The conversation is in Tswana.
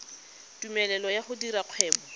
tumelelo ya go dira kgwebo